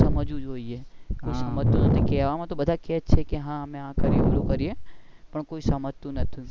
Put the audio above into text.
કેવા માં તો બધા કે છે પણ કોઈ સમજાતું નથી